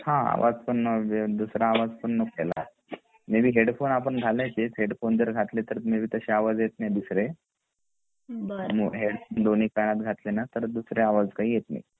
हा म्हणजे दूसरा आवाज पण नको यायला मे बी हेडफोन घळायचेच आपण हेडफोन मे बी घातले तर मे बी दुसरे आवाज येत नाहीत दुसरे मे बी दोन्ही कानात घातले ना तर दुसरे आवाज येत नाहीत